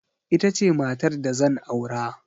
Ita ce matar da zan aura.